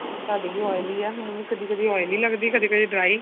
ਤੁਹਾਡੀ ਵੀ oily ਏ ਮੈਨੂੰ ਵੀ ਕਦੀ ਕਦੀ oily ਲੱਗਦੀ ਕਦੇ ਕਦੇ dry